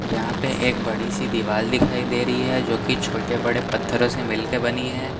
यहां पे एक बड़ी सी दीवाल दिखाई दे रही है जो कि छोटे बड़े पत्थरों से मिल के बनी है।